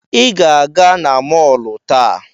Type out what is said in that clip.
Ị ga-aga na mọọlụ taa!